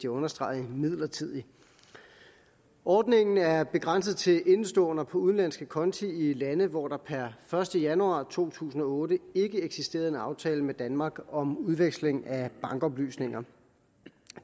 understrege midlertidig ordningen er begrænset til indeståender på udenlandske konti i lande hvor der per første januar to tusind og otte ikke eksisterede en aftale med danmark om udveksling af bankoplysninger